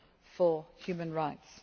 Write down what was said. for human rights.